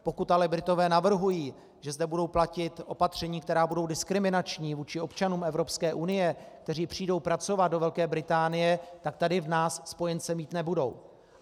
Pokud ale Britové navrhují, že zde budou platit opatření, která budou diskriminační vůči občanům Evropské unie, kteří přijdou pracovat do Velké Británie, tak tady v nás spojence mít nebudou.